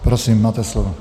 Prosím, máte slovo.